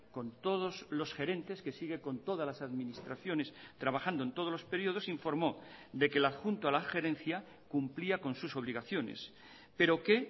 con todos los gerentes que sigue con todas las administraciones trabajando en todos los periodos informó de que el adjunto a la gerencia cumplía con sus obligaciones pero que